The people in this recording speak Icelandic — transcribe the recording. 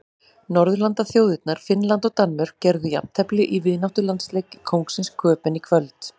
Norðurlandaþjóðirnar Finnland og Danmörk gerðu jafntefli í vináttulandsleik í Kóngsins Köben í kvöld.